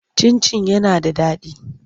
Cin-cin yana da daɗi.